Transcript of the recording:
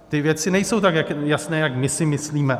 Ty věci nejsou tak jasné, jak vy si myslíte.